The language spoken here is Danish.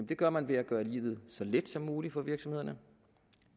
det gør man ved at gøre livet så let som muligt for virksomhederne